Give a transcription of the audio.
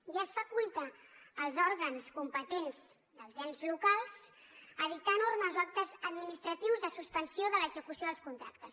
i es faculta els òrgans competents dels ens locals a dictar normes o actes administratius de suspensió de l’execució dels contractes